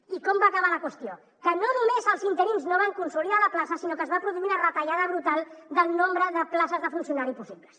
i com va acabar la qüestió que no només els interins no van consolidar la plaça sinó que es va produir una retallada brutal del nombre de places de funcionari possibles